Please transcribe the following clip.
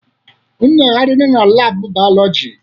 Unu ga-agarịrị na laabụ bayolọjị!